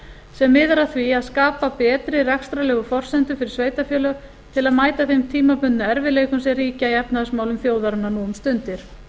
sem miðar að því að skapa betri rekstrarlegar forsendur fyrir sveitarfélög til að mæta þeim tímabundnu erfiðleikum sem ríkja í efnahagsmálum þjóðarinnar nú um stundir